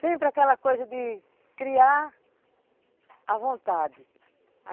Sempre aquela coisa de criar à vontade.